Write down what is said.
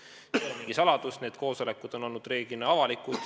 See ei ole mingi saladus, need koosolekud on reeglina avalikud olnud.